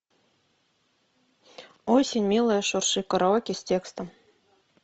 осень милая шурши караоке с текстом